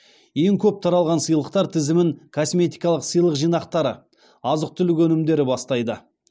ең көп таралған сыйлықтар тізімін косметикалық сыйлық жиынтықтары азық түлік өнімдері бастайды